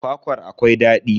Kwakwar akwai daɗi.